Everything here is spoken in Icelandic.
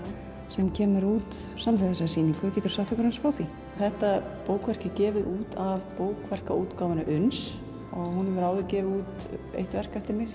sem kemur út samhliða þessari sýningu geturðu sagt okkur aðeins frá því þetta bókverk er gefið út af bókverkaútgáfunni uns og hún hefur áður gefið út eitt verk eftir mig sem